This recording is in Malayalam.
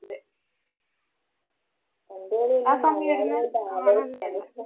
അതേ പന്തുകളിയെല്ലാം